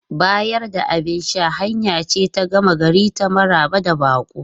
Bayar da abin sha hanya ce ta gama gari ta maraba da baƙo.